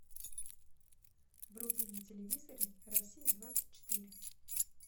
вруби на телевизоре россия двадцать четыре